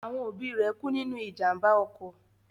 Àwọn rẹ̀ kú nínú ìjàmbá ọkọ̀